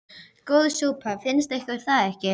Góð súpa, finnst ykkur það ekki?